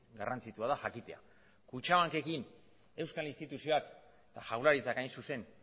garrantzitsua da jakitea kutxabankekin euskal instituzioak jaurlaritzak hain zuzen